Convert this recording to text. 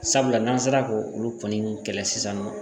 Sabula n'an sera k'o olu kɔni kɛlɛ sisan nɔ